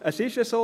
Es ist so: